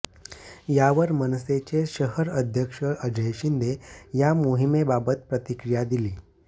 यावर मनसेचे शहर अध्यक्ष अजय शिंदे या मोहिमेबाबत प्रतिक्रिया दिली